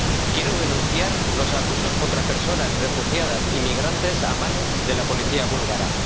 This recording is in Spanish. Quiero denunciar los abusos contra personas refugiadas y migrantes a manos de la policía búlgara.